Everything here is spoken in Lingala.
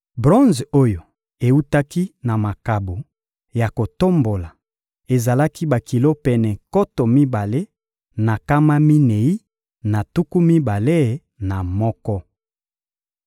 Bronze oyo ewutaki na makabo ya kotombola ezalaki bakilo pene nkoto mibale na nkama minei na tuku mibale na moko.